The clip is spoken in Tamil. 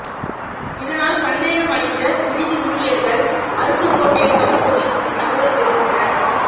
இதனால் சந்தேகம் அடைந்த விடுதி ஊழியர்கள் அருப்புக் கோட்டை டவுன் போலீசுக்கு தகவல் தெரிவித்தனர